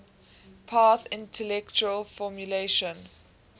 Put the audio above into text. path integral formulation